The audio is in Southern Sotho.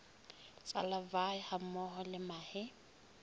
tsa larvae hammoho le mahe